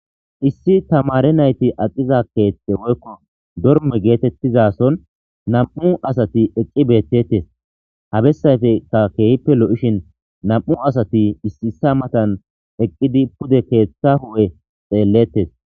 issi tamare nayti aqiza keethte woykko dorme geetettiza son nam7u asati eqi beettettes ha bessayfekka keehippe lo7ishin nam7u asati issiisa matan eqqidi pude keeththa hu7e xeellettes